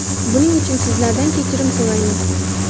Buning uchun sizlardan kechirim so‘raymiz.